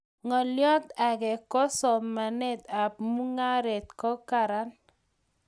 Ngolyot age ko somanet ab mungaret ko karan